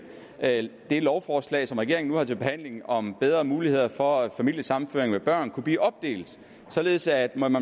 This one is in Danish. at det lovforslag som regeringen nu har til behandling om bedre muligheder for familiesammenføring med børn kunne blive opdelt således at man